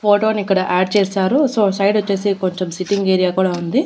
Photo నీ ఇక్కడ add చేసారు సో సైడ్ వోచేసి కొంచం సిట్టింగ్ ఏరియా కూడా ఉంది.